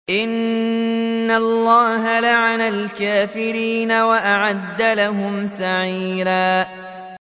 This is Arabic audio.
إِنَّ اللَّهَ لَعَنَ الْكَافِرِينَ وَأَعَدَّ لَهُمْ سَعِيرًا